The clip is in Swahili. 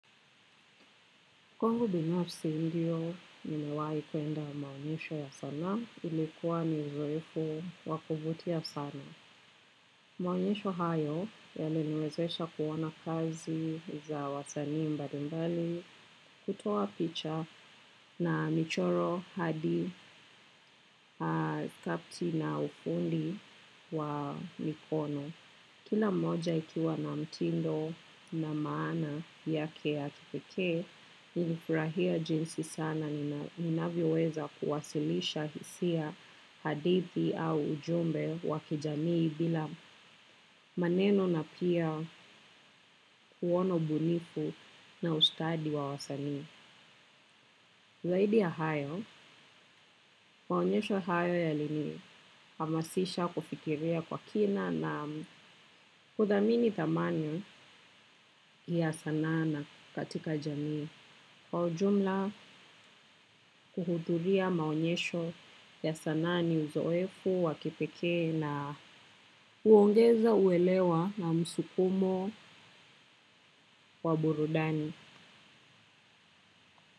Kwangu binafsi ndio, nimewahi kuenda maonyesho ya sanaa, ilikuwa ni zoefu wa kuvutia sana. Maonyesho hayo, yaliniwezesha kuona kazi za wasanii mbalimbali, kutoa picha na michoro hadi kapti na ufundi wa mikono. Kila moja ikiwa na mtindo na maana yake ya kipekee, nilifurahia jinsi sana ninavyoweza kuwasilisha hisia hadithi au ujumbe wa kijamii bila maneno na pia kuona ubunifu na ustadi wa wasanii. Zaidi ya hayo, maonyesho hayo yalini hamasisha kufikiria kwa kina na kuthamini thamani ya sanaa na katika jamii. Kwa ujumla kuhudhuria maonyesho ya sanaa ni uzoefu wa kipekee na huongeza uelewa na msukumo wa burudani.